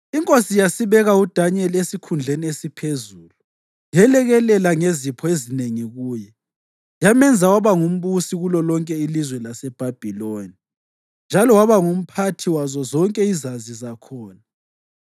Inkosi yasibeka uDanyeli esikhundleni esiphezulu yelekelela ngezipho ezinengi kuye. Yamenza waba ngumbusi kulolonke ilizwe laseBhabhiloni njalo waba ngumphathi wazo zonke izazi zakhona.